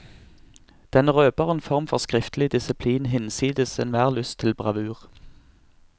Den røber en form for skriftlig disiplin, hinsides enhver lyst til bravur.